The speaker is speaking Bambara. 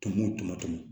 Tɔmɔ tɔmɔtɔmɔ